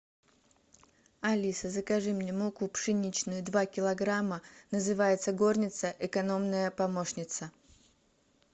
алиса закажи мне муку пшеничную два килограмма называется горница экономная помощница